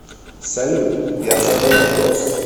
салют я задал вопрос